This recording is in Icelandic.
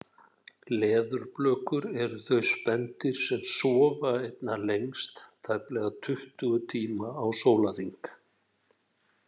Leðurblökur eru þau spendýr sem sofa einna lengst, tæplega tuttugu tíma á sólarhring.